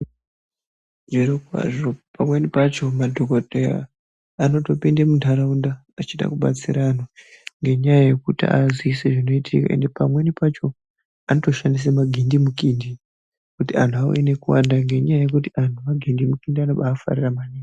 Zviro kwazvo pamweni pacho madhokodheya anotopinde muntaraunda achida kubatsira antu ngenyaya yekuti aziise zvinoitika ende pamweni pacho anotoshandisa magindimukindi kuti antu auye nekuwanda ngenyaya yekuti antu magindimukindi anobafatira maningi.